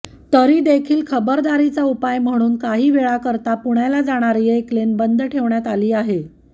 तरी देखील खबरदारीचा उपाय म्हणून काही वेळाकरता पुण्याला जाणारी एक लेन बंद ठेवण्यात आली आहे